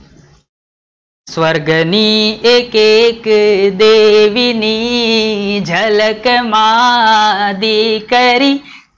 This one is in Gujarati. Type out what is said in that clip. સ્વર્ગની એકે એક દેહીની ઝલક માં દીકરી